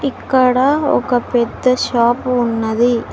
ఇక్కడ ఒక పెద్ద షాపు ఉన్నది.